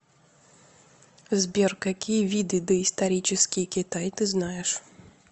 сбер какие виды доисторический китай ты знаешь